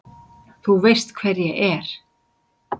Þú veist hver ég er.